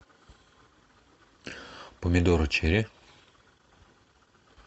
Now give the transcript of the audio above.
помидоры черри